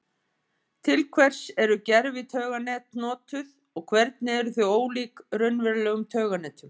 Til hvers eru gervitauganet notuð og hvernig eru þau ólík raunverulegum tauganetum?